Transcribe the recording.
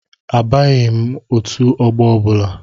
Abanyeghi m otu ọgbọ ọbụla.